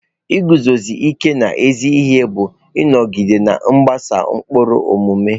Iguzosi ike n'ezi ihe bụ ịnọgide na-agbaso ụkpụrụ omume.